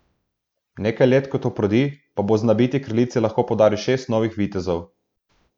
Nekaj let kot oprodi, pa bo znabiti kraljici lahko podaril šest novih vitezov.